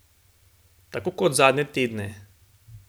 Tako kot zadnje tedne.